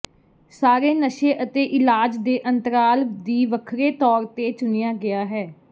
ਸਾਰੇ ਨਸ਼ੇ ਅਤੇ ਇਲਾਜ ਦੇ ਅੰਤਰਾਲ ਦੀ ਵੱਖਰੇ ਤੌਰ ਨੂੰ ਚੁਣਿਆ ਗਿਆ ਹੈ